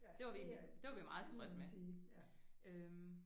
Det var vi egentlig det var vi meget tilfredse med øh